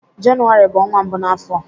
Jenụwarị bụ ọnwa mbụ n'afọ.